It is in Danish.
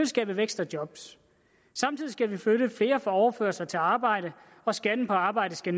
skabe vækst og job samtidig skal vi flytte flere fra overførsler til arbejde og skatten på arbejde skal